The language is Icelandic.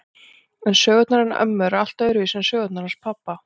En sögurnar hennar ömmu eru allt öðruvísi en sögurnar hans pabba.